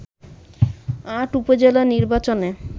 ৮ উপজেলা নির্বাচনে